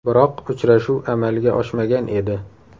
Biroq uchrashuv amalga oshmagan edi .